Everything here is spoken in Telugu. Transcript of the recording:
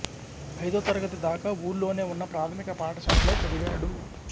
ఐదో తరగతి దాకా ఊళ్ళోనే ఉన్న ప్రాథమిక పాఠశాలలో చదివాడు